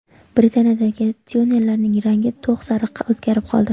Britaniyadagi tyulenlarning rangi to‘q sariqqa o‘zgarib qoldi.